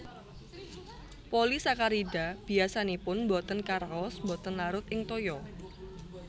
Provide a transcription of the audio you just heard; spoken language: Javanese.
Polisakarida biasanipun botén karaos botén larut ing toya